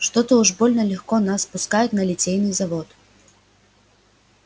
что-то уж больно легко нас пускают на литейный завод